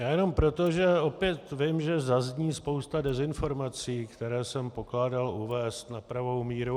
Já jenom proto, že opět vím, že zazní spousta dezinformací, které jsem pokládal uvést na pravou míru.